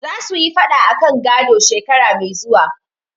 Za su yi faɗa akan gado, shekara mai zuwa.